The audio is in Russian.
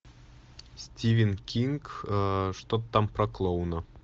стивен кинг что то там про клоуна